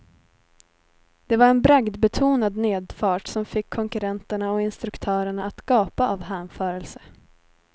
Det var en bragdbetonad nedfart som fick konkurrenterna och instruktörerna att gapa av hänförelse.